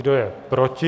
Kdo je proti?